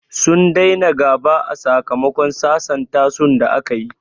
Sun daina gaba a sakamakon sasanta su da a kayi